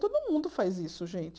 Todo mundo faz isso, gente.